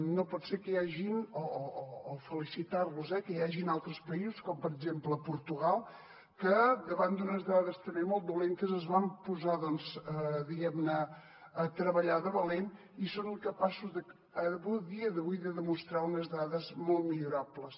no pot ser que hi hagin o felicitar los eh altres països com per exemple portugal que davant d’unes dades també molt dolentes es van posar a treballar de valent i són capaços a dia d’avui de demostrar unes dades molt millorables